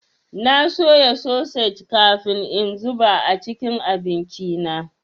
Na soya sosej kafin in zuba a cikin abinci na.